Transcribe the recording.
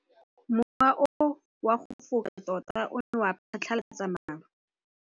Mowa o wa go foka tota o ne wa phatlalatsa maru.